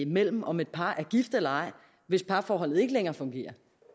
mellem om et par er gift eller ej hvis parforholdet ikke længere fungerer